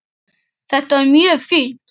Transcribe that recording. Þetta var mjög fínt.